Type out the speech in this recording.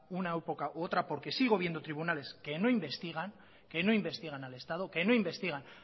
una época u otra porque sigo viendo tribunales que no investigan que no investigan al estado que no investigan